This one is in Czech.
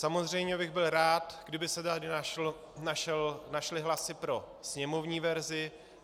Samozřejmě bych byl rád, kdyby se tady našly hlasy pro sněmovní verzi.